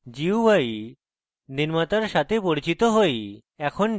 gui নির্মাতার সাথে পরিচিত হই